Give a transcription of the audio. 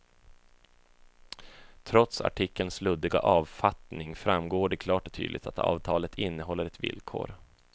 Trots artikelns luddiga avfattning framgår det klart och tydligt att avtalet innehåller ett villkor.